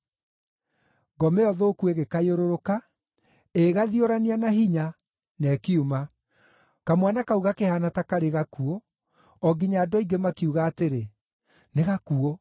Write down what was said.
Ngoma ĩyo thũku ĩgĩkayũrũrũka, ĩgĩgathiorania na hinya, na ĩkiuma. Kamwana kau gakĩhaana ta karĩ gakuũ, o nginya andũ aingĩ makiuga atĩrĩ, “Nĩ gakuũ.”